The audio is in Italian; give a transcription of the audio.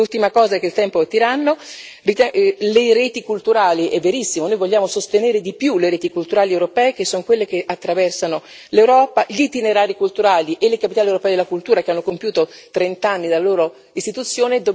E ultima cosa il tempo è tiranno le reti culturali, è verissimo, noi vogliamo sostenere di più le reti culturali europee che son quelle che attraversano l'Europa, gli itinerari culturali e le capitali europee della cultura che hanno compiuto trent'anni dalla loro istituzione.